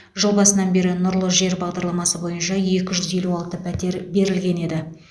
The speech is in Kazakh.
жыл басынан бері нұрлы жер бағдарламасы бойынша екі жүз елу алты пәтер берілген еді